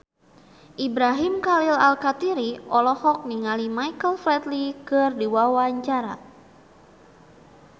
Ibrahim Khalil Alkatiri olohok ningali Michael Flatley keur diwawancara